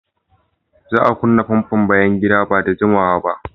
Za a kunna famfon bayan gida ba da jimawa ba.